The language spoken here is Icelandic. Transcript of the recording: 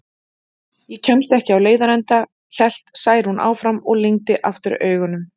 Ég kemst ekki á leiðarenda, hélt Særún áfram og lygndi aftur augunum.